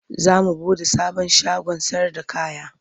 Za mu buɗe sabon shagon sayarda kaya.